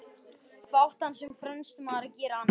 Hvað átti hann sem fremsti maður að gera annað?